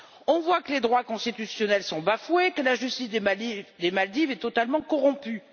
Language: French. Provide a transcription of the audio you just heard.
On voit que les droits constitutionnels sont bafoués, que la justice des Maldives est totalement corrompue.